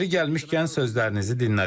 Yeri gəlmişkən, sözlərinizi dinlədim.